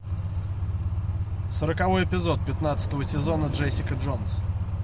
сороковой эпизод пятнадцатого сезона джессика джонс